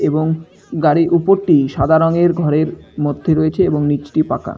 এবং গাড়ির উপরটি সাদা রংয়ের ঘরের মধ্যে রয়েছে এবং নিচটি পাকা।